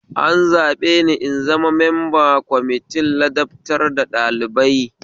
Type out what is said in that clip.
An zaɓeni in zama memba kwamitin ladabtar da ɗalibai